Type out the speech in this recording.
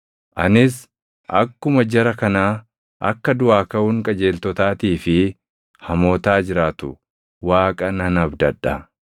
Anis akkuma jara kanaa akka duʼaa kaʼuun qajeeltotaatii fi hamootaa jiraatu Waaqa nan abdadha.